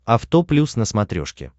авто плюс на смотрешке